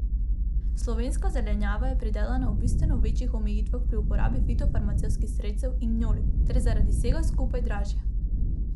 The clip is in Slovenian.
Slovenska zelenjava je pridelana ob bistveno večjih omejitvah pri uporabi fitofarmacevtskih sredstev in gnojil ter zaradi vsega skupaj dražja.